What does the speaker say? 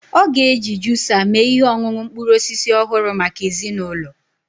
Ọ ga-eji juusa mee ihe ọṅụṅụ mkpụrụ osisi ọhụrụ maka ezinụlọ